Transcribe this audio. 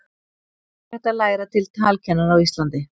ekki er hægt að læra til talkennara á íslandi